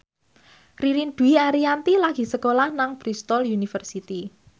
Ririn Dwi Ariyanti lagi sekolah nang Bristol university